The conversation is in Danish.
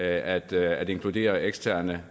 at at inkludere eksterne